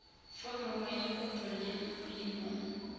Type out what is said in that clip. foromo ya kopo ya molemo